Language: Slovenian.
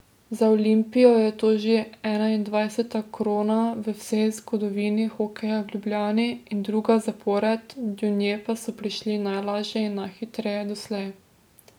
Za Olimpijo je to že enaindvajseta krona v vsej zgodovini hokeja v Ljubljani in druga zapored, do nje pa so prišli najlažje in najhitreje doslej.